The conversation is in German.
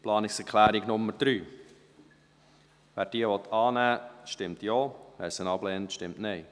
Wer die Planungserklärung 3 annehmen will, stimmt Ja, wer diese ablehnt, stimmt Nein.